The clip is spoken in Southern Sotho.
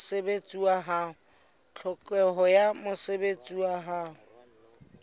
tlhokeho ya mosebetsi wa ho